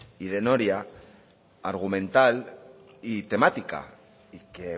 y de noria argumental y temática y que